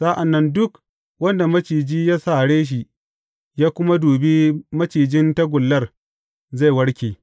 Sa’an nan duk wanda maciji ya sare shi, ya kuma dubi macijin tagullar, zai warke.